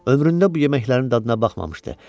Ömründə bu yeməklərin dadına baxmamışdı.